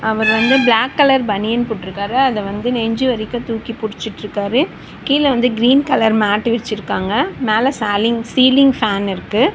அவர் வந்து black colour பனியன் போட்ருக்காரு அத வந்து நெஞ்சி வரைக்கு தூக்கி பிடிச்சுட்ருக்காரு கீழ வந்து கிரீன் கலர் மேட்டு விரிச்சிருக்காங்க மேல சாலிங் சீலிங் ஃபேன் இருக்கு.